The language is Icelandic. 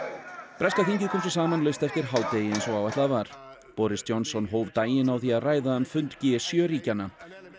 breska þingið kom svo saman laust eftir hádegi eins og áætlað var boris Johnson forsætisráðherra hóf daginn á því að ræða um fund g sjö ríkjanna